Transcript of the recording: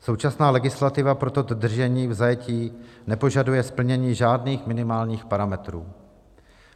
Současná legislativa pro toto držení v zajetí nepožaduje splnění žádných minimálních parametrů.